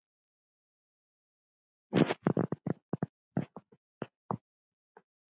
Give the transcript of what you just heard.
spurði Jón Arason.